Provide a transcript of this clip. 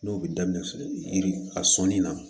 N'o bɛ daminɛ yiri a sɔnni na